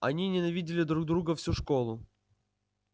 они ненавидели друг друга всю школу